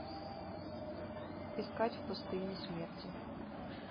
искать в пустыне смерти